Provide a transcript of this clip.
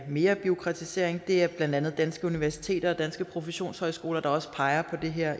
mere bureaukratisering det er blandt andet danske universiteter og danske professionshøjskoler der også peger på det her